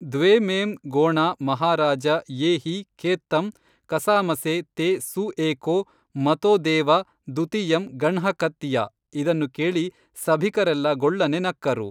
ದ್ವೇ ಮೇಂ ಗೋಣಾ ಮಹಾರಾಜ ಯೇ ಹಿ ಖೇತ್ತಂ ಕಸಾಮಸೇ ತೇ ಸುಏಕೋ ಮತೋ ದೇವ ದುತಿಯಂ ಗಣ್ಹ ಖತ್ತಿಯ ಇದನ್ನು ಕೇಳಿ ಸಭಿಕರೆಲ್ಲಾ ಗೊಳ್ಳನೆ ನಕ್ಕರು